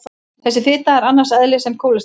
Þessi fita er annars eðlis en kólesteról.